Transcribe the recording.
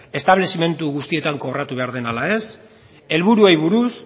establezimendu guztietan kobratu behar den ala ez helburuei buruz